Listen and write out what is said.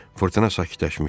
Fırtına sakitləşmişdi.